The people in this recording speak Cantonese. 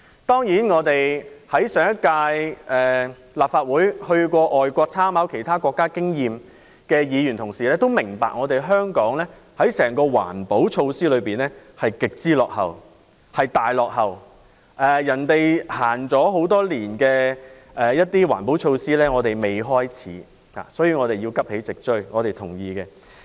當然，在上屆立法會曾前往外國參考其他國家經驗的議員也明白，整體而言，香港的環保措施極為落後，其他國家已實行多年的環保措施，我們仍未開始，所以我們認同香港要急起直追。